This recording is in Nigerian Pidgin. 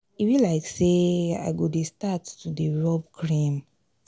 e be like say i go dey start to dey rub cream.